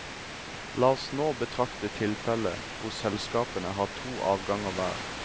La oss nå betrakte tilfellet hvor selskapene har to avganger hver.